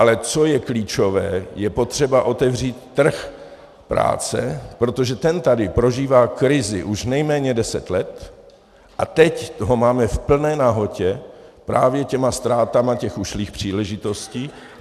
Ale co je klíčové, je potřeba otevřít trh práce, protože ten tady prožívá krizi už nejméně deset let a teď ho máme v plné nahotě právě těmi ztrátami těch ušlých příležitostí.